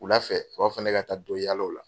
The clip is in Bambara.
Wula fɛ u b'a fɔ ko ne ka taa dɔ yaala o la.